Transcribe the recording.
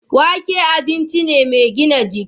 Wake abinci ne mai gina jiki.